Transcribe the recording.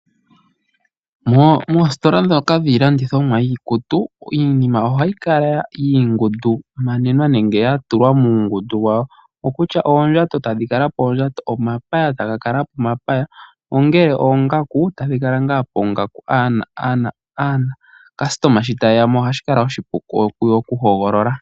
Moositola ndhoka dhiilandithomwa yiikutu Iinima ohayi kala ya pakelwa muungundu wawo okutya oondjato tadhi pakelwa poondjato, omapaya taga kala pomapaya, ongele oongaku tadhi kala ngaa poongaku, opo aalandi sho taye ya mo ohashi kala oshipu oku hogolola.